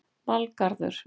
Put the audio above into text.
Valgarður